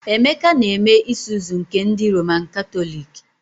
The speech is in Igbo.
Emeka na-eme Isuzu nke ndị Roman Katọliki